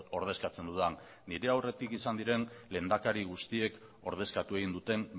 ordezkatzen dudan nire aurretik izan diren lehendakari guztiek ordezkatu egin duten